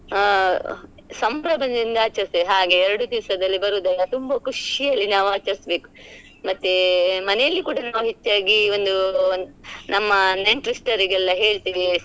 ಆ ಸಂಭ್ರಮದಿಂದ ಆಚರಿಸ್ತೇವೆ ಹಾಗೆ ಎರಡು ದಿವ್ಸದಲ್ಲಿ ಬರೋದು ಅಲ್ಲ ತುಂಬಾ ಖುಷಿಯಲ್ಲಿ ನಾವ್ ಆಚರಿಸ್ಬೇಕು ಮತ್ತೆ ಮನೇಲಿ ಕೂಡ ನಾವು ಹೆಚ್ಚಾಗಿ ಒಂದು ನಮ್ಮ ನೆಂಟ್ರಸ್ಟರಿಗೆ ಎಲ್ಲ ಹೇಳ್ತೇವೆ.